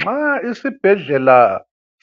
Nxa isibhedlela